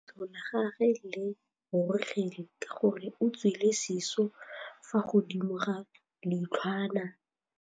Leitlhô la gagwe le rurugile ka gore o tswile sisô fa godimo ga leitlhwana.